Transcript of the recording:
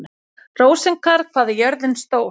Rósinkar, hvað er jörðin stór?